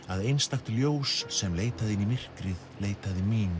að einstakt ljós sem leitaði inn í myrkrið leitaði mín